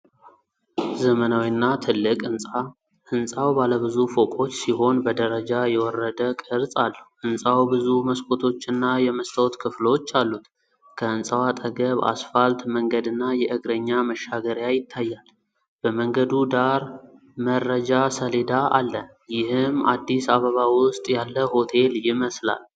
ዘመናዊና ትልቅ ሕንፃ ሕንፃው ባለብዙ ፎቆች ሲሆን በደረጃ የወረደ ቅርጽ አለው። ሕንፃው ብዙ መስኮቶችና የመስታወት ክፍሎች አሉት። ከሕንፃው አጠገብ አስፋልት መንገድና የእግረኛ መሻገሪያ ይታያል። በመንገዱ ዳር መረጃ ሰሌዳ አለ። ይህም አዲስ አበባ ውስጥ ያለ ሆቴል ይመስላል።